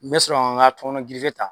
N mɛ sɔrɔ ka n ka tɔmɔnɔ girife ta